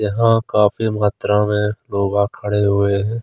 यहां काफी मात्रा में लोगा खड़े हुए है।